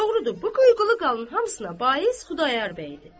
Doğrudur, bu qıyqılı qalın hamısına bais Xudayar bəy idi.